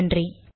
நன்றி